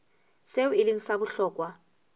seo e leng sa bohlokwa